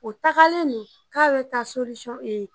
O tagalen don k'a bɛ taa e